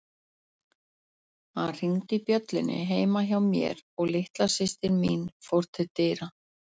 Hann hringdi bjöllunni heima hjá mér og litla systir mín fór til dyra.